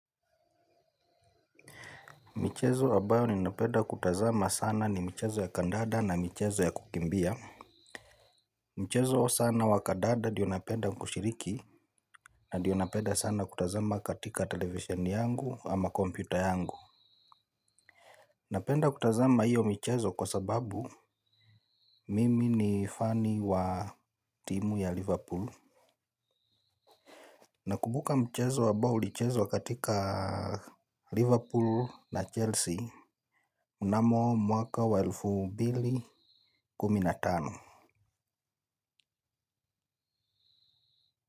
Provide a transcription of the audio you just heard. Michezo ambayo ninapenda kutazama sana ni michezo ya kandanda na michezo ya kukimbia. Mchezo sana wa kandanda ndiyo napenda kushiriki, na ndiyo napenda sana kutazama katika televesheni yangu ama kompyuta yangu. Napenda kutazama hiyo michezo kwa sababu mimi ni fani wa timu ya Liverpool. Na kukumbuka mchezo ambao ulichezwa katika Liverpool na Chelsea mnamo mwaka wa elfu mbili kumi na tano.